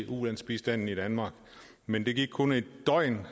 ulandsbistanden i danmark men der gik kun et døgn